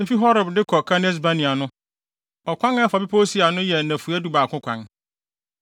Efi Horeb de kɔ Kades-Barnea no, ɔkwan a ɛfa bepɔw Seir no, yɛ nnafua dubaako kwan.